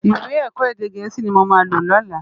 Iwè èkò édé gèési ni mó má ló lòlá